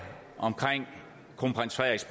omkring kronprins frederiks